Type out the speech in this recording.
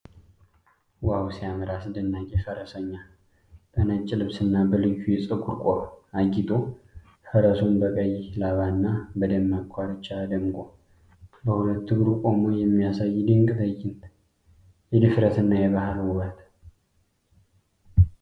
ዋው ሲያምር! አስደናቂ! ፈረሰኛው በነጭ ልብስና በልዩ የፀጉር ቆብ አጊጦ፣ ፈረሱም በቀይ ላባና በደማቅ ኮርቻ ደምቆ፣ በሁለት እግሩ ቆሞ የሚያሳይ ድንቅ ትዕይንት። የድፍረትና የባህል ውበት!